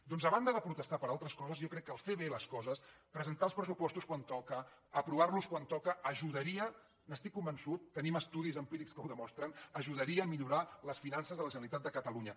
doncs a banda de protestar per altres coses jo crec que fer bé les coses presentar els pressupostos quan toca aprovar los quan toca ajudaria n’estic convençut tenim estudis empírics que ho demostren a millorar les finances de la generalitat de catalunya